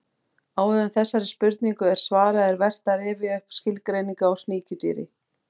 Áður en þessari spurningu er svarað er vert að rifja upp skilgreiningu á sníkjudýri.